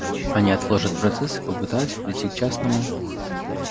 они отложат процесс и попытаются прийти к частному